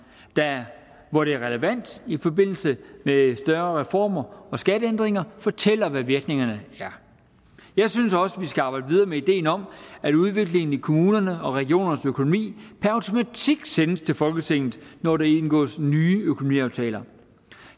hvor det er relevant i forbindelse med større reformer og skatteændringer og fortæller hvad virkningerne er jeg synes også vi skal arbejde videre med ideen om at udviklingen i kommunernes og regionernes økonomi per automatik sendes til folketinget når der indgås nye økonomiaftaler